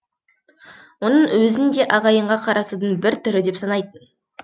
оның өзін де ағайынға қарасудың бір түрі деп санайтын